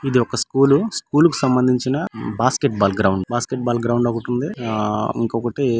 ఇది ఒక school school కు కి సంబంధించిన బాస్కెట్బాల్ గ్రౌండ్ బాస్కెట్బాల్ గ్రౌండ్ ఒకటి ఉంది. ఆ ఇంకొకటి --